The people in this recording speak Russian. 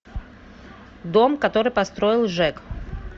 дом который построил джек